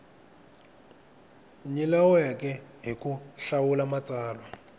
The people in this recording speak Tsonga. nyilaweke hi ku hlawula matsalwa